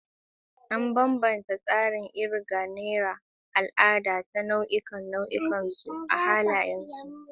An bambanta tsarin kirga na al'ada ta nau'ikan nau'ikan su da halayensu.